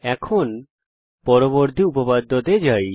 এখন পরবর্তী উপপাদ্য এ যাই